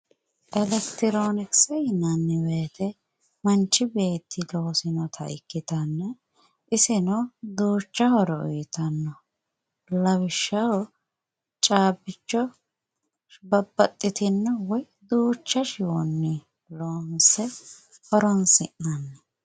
Elekitironkise yinnanni woyte manchi beetti loosinotta ikkittanna iseno duucha horo uyittano lawishshaho caabbicho babbaxitino woyi duucha shiwonni loonse horonsi'nanni.